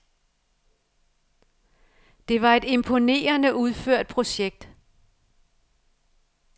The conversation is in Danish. Det var et imponerende udført projekt.